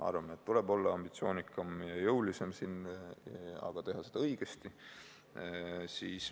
Arvame, et tuleb olla ambitsioonikam ja jõulisem, aga teha seda õigesti.